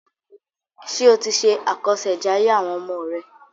Ṣé o ti ṣe àkọṣèjayé àwọn ọmọ rẹ?